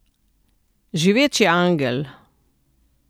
Živeči angel.